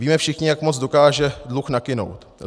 Víme všichni, jak moc dokáže dluh nakynout.